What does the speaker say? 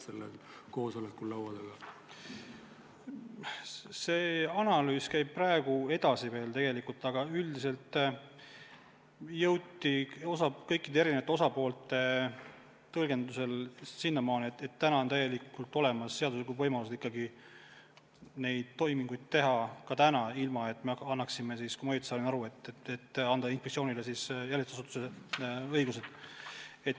See analüüs käib praegu edasi, aga üldiselt jõudsime kõikide osapoolte tõlgendustega sinnamaale, et praegu on täielikult olemas seaduslikud võimalused ikkagi neid toiminguid teha – ka praegu, ilma et me annaksime siis, kui ma teist õigesti aru sain, inspektsioonile jälitusasutuse õigused.